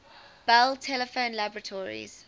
bell telephone laboratories